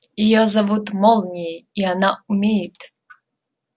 её зовут молнией и она умеет